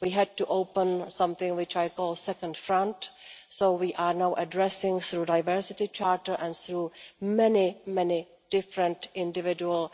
We had to open something which I call the second front', so we are now addressing through the Diversity Charter and through many, many different individual